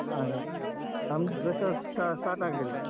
ಹಾ ಹಾಗೆ ನಮ್ ಇನ್ನುಸ ಅಹ್ start ಆಗಿಲ್ಲ.